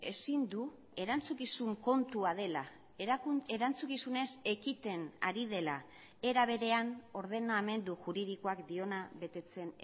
ezin du erantzukizun kontua dela erantzukizunez ekiten ari dela era berean ordenamendu juridikoak diona betetzen